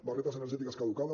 barretes energètiques caducades